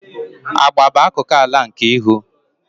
Agba bụ akụkụ ala nke ihu.